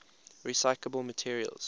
recyclable materials